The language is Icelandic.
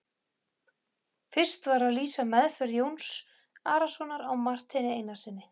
Fyrst var að lýsa meðferð Jóns Arasonar á Marteini Einarssyni.